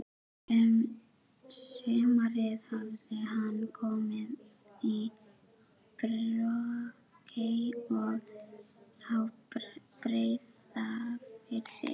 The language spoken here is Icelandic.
Um sumarið hafði hann komið í Brokey á Breiðafirði.